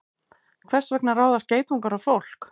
Hvers vegna ráðast geitungar á fólk?